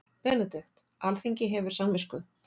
BENEDIKT: Alþingi hefur samvisku.